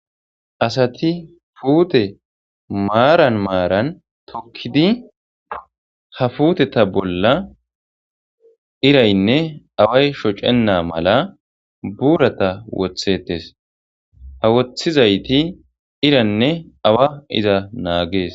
asati puute maaran maaran tokkidi ha fuuteta bolla iraynne away shocenna mala buurata wothetes ha woththizayti iraynne awa iza naagees